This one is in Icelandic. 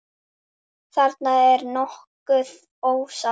Þarna er nokkuð ofsagt.